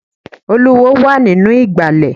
Olúwo wà nínú ìgbàlẹ̀.